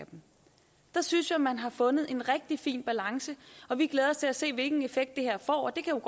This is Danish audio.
der synes jeg man har fundet en rigtig fin balance og vi glæder os til at se hvilken effekt det her får det kan